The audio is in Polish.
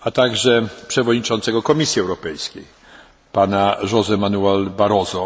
a także przewodniczącego Komisji Europejskiej, Pana Joségo Manuela Barroso.